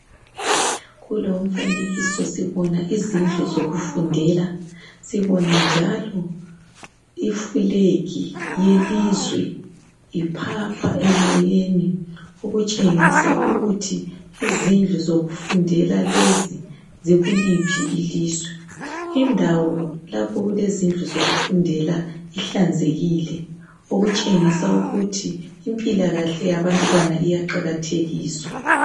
Kulo umfanekiso sibona izindlu zokufundela lefulegi yelizwe iphapha emoyeni okutshengisa ukuthi lesisikolo sikuliphi ilizwe. Lindawo ihlanzekile okutshengisa ukuthi impilakahle yabantwana iyaqakathekiswa.